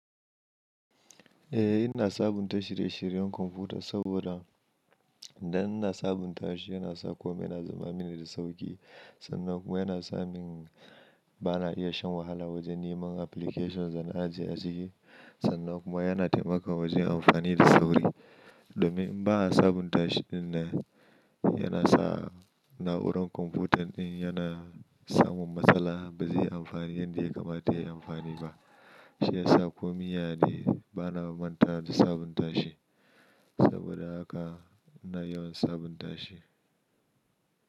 Eh, ina sabunta shirye-shiryen kwamfuta saboda idan ina sabunta shi yana sa kome yana zama mini da sauƙi. Sannan kuma yana sa min bana iya shan wahala wajen neman applications da na ajiye a ciki. Sannan kuma yana taimaka wajen amfani da sauri. Domin in ba a sabunta shi dinnan, yana sa na'urar kwamfutan din yana samun matsala, ba zai yi amfani yadda ya kamata yayi amfani ba. Shi ya sa kome yane, bana mantawa da sabunta shi. Saboda haka ina yawan sabunta shi.